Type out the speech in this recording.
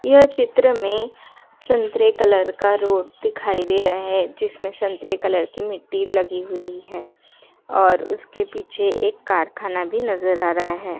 यह चित्र में संतरे कलर का रोड दिखाई दे रहा हैजिसमें संतरे कलर की मिट्टी लगी हुई है और उसके पीछे एक कारखाना भी नजर आ रहा है।